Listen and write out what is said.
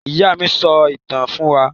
Ìyá mi sọ ìtàn fún wa.